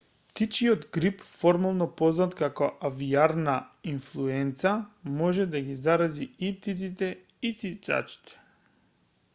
птичјиот грип формално познат како авијарна инфлуенца може да ги зарази и птиците и цицачите